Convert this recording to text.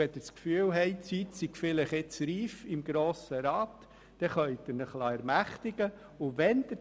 Wenn Sie das Gefühl haben, im Grossen Rat sei die Zeit vielleicht reif, dann können Sie sich ermächtigen lassen.